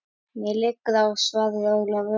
Mér liggur á, svaraði Ólafur.